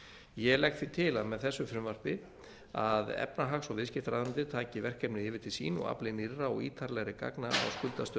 ég legg því til að með þessu frumvarpi að efnahags viðskiptaráðuneytið taki verkefnið yfir til sín og afli nýrra og ítarlegri gagna á skuldastöðu